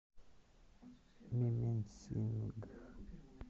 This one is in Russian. мименсингх